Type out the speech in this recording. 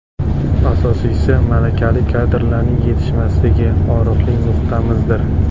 Asosiysi, malakali kadrlarning yetishmasligi og‘riqli nuqtamizdir.